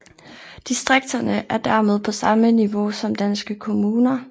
Distrikterne er dermed på samme niveau som danske kommuner